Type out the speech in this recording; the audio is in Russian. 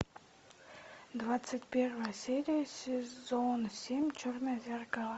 двадцать первая серия сезон семь черное зеркало